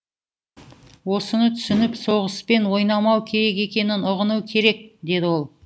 осыны түсініп соғыспен ойнамау керек екенін ұғыну керек деді ол